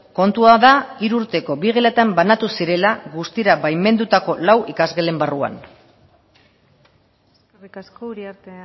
kontua da hiru urteko bi gelatan banatu zirela guztira baimendutako lau ikasgelen barruan eskerrik asko uriarte